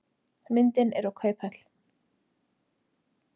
Myndin er úr kauphöll.